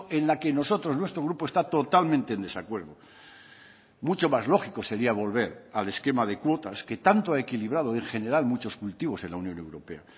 en la que nosotros nuestro grupo está totalmente en desacuerdo mucho más lógico sería volver al esquema de cuotas que tanto ha equilibrado en general muchos cultivos en la unión europea